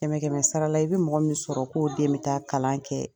Kɛmɛ kɛmɛ sara la i bɛ mɔgɔ min sɔrɔ k'o den bi taa kalan kɛ